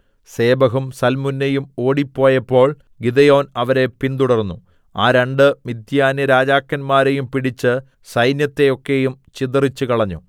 സേബഹും സൽമുന്നയും ഓടിപ്പോയപ്പോൾ ഗിദെയോൻ അവരെ പിന്തുടർന്നു ആ രണ്ട് മിദ്യാന്യരാജാക്കന്മാരെയും പിടിച്ച് സൈന്യത്തെയൊക്കെയും ചിതറിച്ചുകളഞ്ഞു